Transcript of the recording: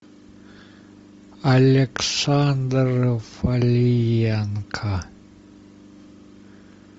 александр палиенко